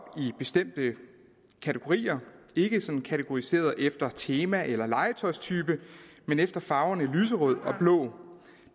i bestemte kategorier ikke sådan kategoriseret efter tema eller legetøjstype men efter farverne lyserød og blå